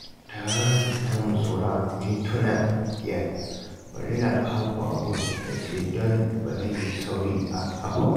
Taron namu saura mintuna biyar, bari na hau babur na je don ba zan yi sauri a ƙafa ba